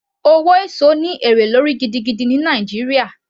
Owó èso ní èrè lórí gidigidi ní Nàìjíríà